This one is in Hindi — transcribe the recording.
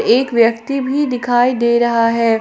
एक व्यक्ति भी दिखाई दे रहा है।